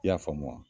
I y'a faamu wa